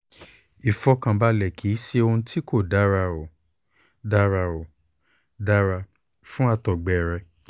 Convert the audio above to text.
ìfọ̀kànbalẹ̀ kì í ṣe ohun tí kò dára ó dára dára ó dára fún àtọ́gbẹ́ rẹ